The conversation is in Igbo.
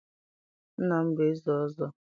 nna m bụ eze ọzọ.